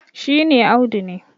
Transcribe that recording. shi ne Audu ne